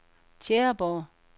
Tjæreborg